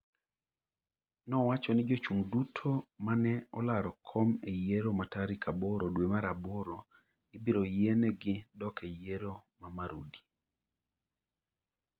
nowacho ni jochung' duto mane olaro kom eyiero ma tarik aboro dwe mar aboro ibiro yienegi dok e yiero ma Marudi